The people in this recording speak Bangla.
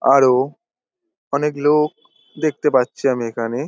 আরো অনেক লোক দেখতে পাচ্ছি আমি এখানে।